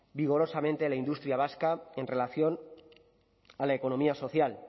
vigorosamente la industria vasca en relación a la economía social